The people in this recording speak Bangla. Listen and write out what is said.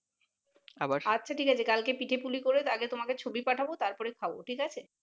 আচ্ছা ঠিক আছে কালকে পিঠে পুলি করে আগে তোমাকে ছবি পাঠাবো তারপর খাবো ঠিক আছে